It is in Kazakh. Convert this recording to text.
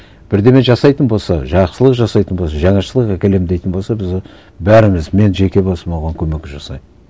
бірдеңе жасайтын болса жақсылық жасайтын болса жаңашылық әкелемін дейтін болса біз бәріміз мен жеке басым оған көмек жасаймын